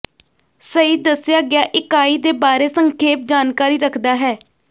ਸਹੀ ਦੱਸਿਆ ਗਿਆ ਇਕਾਈ ਦੇ ਬਾਰੇ ਸੰਖੇਪ ਜਾਣਕਾਰੀ ਰੱਖਦਾ ਹੈ